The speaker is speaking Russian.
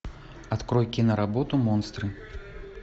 открой киноработу монстры